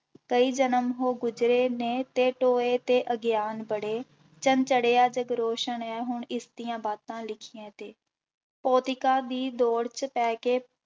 ਕਈ ਜਨਮ ਹੋ ਗੁਜ਼ਰੇ ਨੇ ਤੇ ਟੋਏ ਤੇ ਅਗਿਆਨ ਬੜੇ, ਚੰਨ ਚੜ੍ਹਿਆ ਜਗ ਰੋਸ਼ਨ ਹੈ ਹੁਣ ਇਸਦੀਆਂ ਬਾਤਾਂ ਲਿਖੀਆਂ ਤੇ, ਭੋਤਿਕਾ ਦੀ ਦੌੜ ਚ ਪੈ ਕੇ